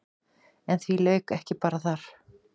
En því lauk ekki bara þar.